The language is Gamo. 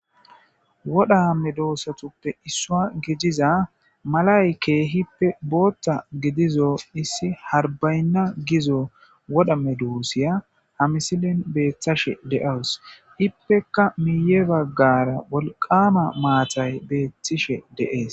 Wodha medosatuppe issuwa gidiza malay kehippe botha gidizo issi harbaynna gizo wodha medosiya ha misilan bethashe de'awus ipeka miye bagara wolqama matay betishe dee'es.